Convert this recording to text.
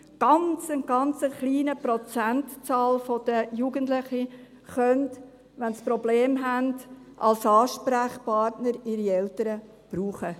Ein ganz, ganz kleiner Prozentsatz der Jugendlichen kann, wenn es Probleme gibt, die Eltern als Ansprechpartner brauchen.